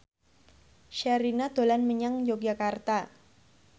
Sherina dolan menyang Yogyakarta